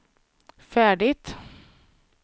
färdigt